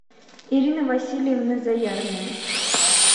ирина васильевна заярная